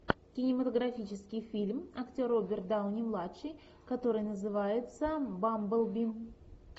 кинематографический фильм актер роберт дауни младший который называется бамблби